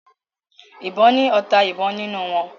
ìbọn ni ọta ìbọn nínú wón